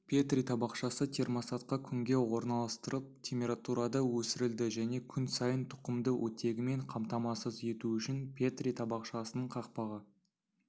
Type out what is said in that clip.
петри табақшасы термостатқа күнге орналастырылып температурада өсірілді және күн сайын тұқымды оттегімен қамтамасыз ету үшін петри табақшасының қақпағы